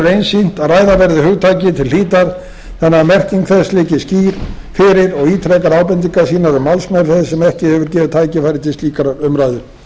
einsýnt að ræða verði hugtakið til hlítar þannig að merking þess liggi skýr fyrir og ítrekar ábendingar sínar um málsmeðferð sem ekki hefur gefið tækifæri til slíkrar umræðu